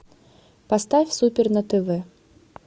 поставь супер на тв